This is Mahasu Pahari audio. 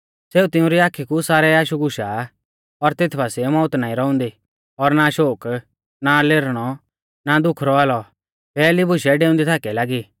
सेऊ तिउंरी आखी कु सारै आशु घुशा और तेत बासिऐ मौउत नाईं रौउंदी और ना शोक ना लेरनौ ना दुःख रौआ लौ पैहली बुशै डेउंदै थाकी लागी